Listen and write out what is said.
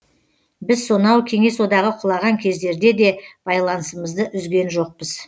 біз сонау кеңес одағы құлаған кездерде де байланысымызды үзген жоқпыз